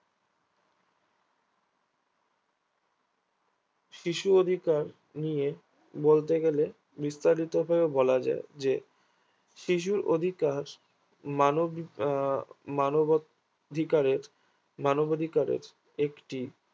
শিশু অধিকার নিয়ে বলতে গেলে বিস্তারিত হয়েও বলা যায় যে শিশুর অধিকার মানব আহ মানব অধিকারের মানব অধিকারের একটি